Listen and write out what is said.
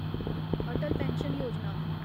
Atal pension Yojana